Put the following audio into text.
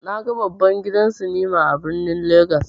Naga babban gidan sinima a birnin legas.